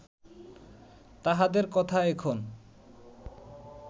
তাঁহাদের কথা এখন